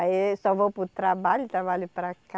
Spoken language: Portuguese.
Aí eu só vou para o trabalho, trabalho para ca